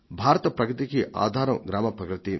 భారత ప్రగతికి ఆధారం గ్రామాల ప్రగతే